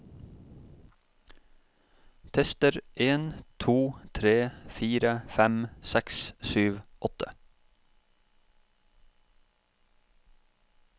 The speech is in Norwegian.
Tester en to tre fire fem seks sju åtte